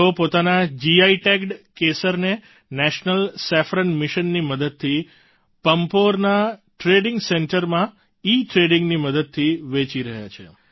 તેઓ પોતાના GI tagged કેસરને નેશનલ સેફ્રોન Missionની મદદથી પમ્પોરના ટ્રેડિંગ સેન્ટરમાં ઈટ્રેડિંગની મદદથી વેચી રહ્યા છે